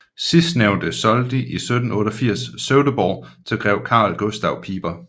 Sidstnævnte solgte i 1788 Sövdeborg til grev Karl Gustav Piper